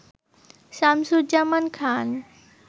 Shamsuzzaman Khan.